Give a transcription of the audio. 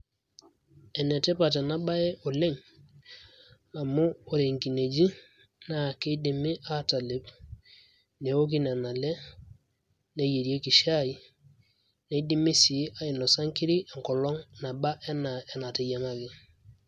Enetipat enabae oleng',amu ore nkineji na kidimi atalep, newoki nena ale, neyierieki shai, nidimi si ainosa nkiri enkolong' naba enaa enateyiang'aki.